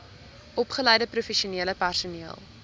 opgeleide professionele personeel